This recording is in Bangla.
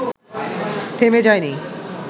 থেমে যায়নি